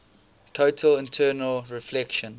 total internal reflection